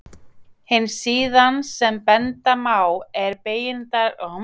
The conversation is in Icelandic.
Hin síðan sem benda má á er Beygingarlýsing íslensks nútímamáls.